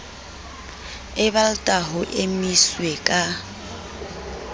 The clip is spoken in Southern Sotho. e balta ho emiswe ka